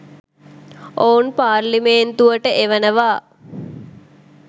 ඔවුන් පාර්ලිමේන්තුවට එවනවා.